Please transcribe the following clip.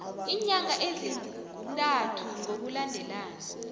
iinyanga ezintathu ngokulandelana